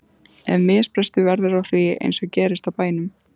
Ef misbrestur verður á því- eins og gerist á bænum